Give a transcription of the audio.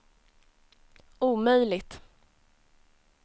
omöjligt